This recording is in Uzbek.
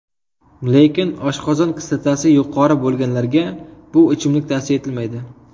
Lekin, oshqozon kislotasi yuqori bo‘lganlarga, bu ichimlik tavsiya etilmaydi.